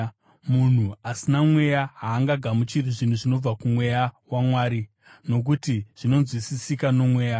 Munhu asina Mweya haangagamuchiri zvinhu zvinobva kuMweya waMwari, nokuti zvinonzwisisika nomweya.